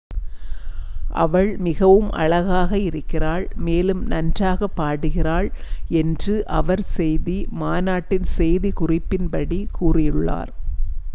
"""அவள் மிகவும் அழகாக இருக்கிறாள் மேலும் நன்றாகப் பாடுகிறாள்," என்று அவர் செய்தி மாநாட்டின் செய்தி குறிப்பின் படி கூறியுள்ளார்.